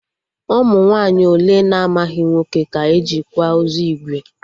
Ụmụ nwaanyị ole na-amaghị nwoke ka e ji kwa ozu ìgwè?